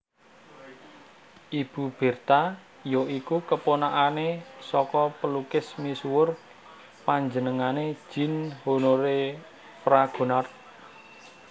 Ibu Bertha ya iku keponakanane saka pelukis misuwur panjenengané Jean Honoré Fragonard